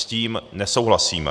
S tím nesouhlasíme.